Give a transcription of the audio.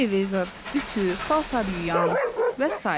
Televizor, ütü, paltaryuyan və sair.